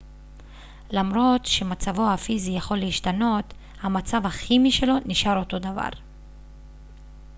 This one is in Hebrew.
למרות שמצבו הפיזי יכול להשתנות המצב הכימי שלו נשאר אותו דבר